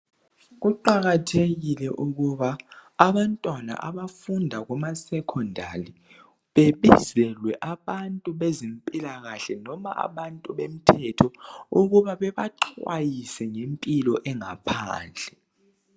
Kuqakathekile ukuba abantwana abafunda Kuma secondali bebizelwe abantu bezempilakahle loba abomthetho ukuba bebaxwayise ngempilo ya ngaphandle.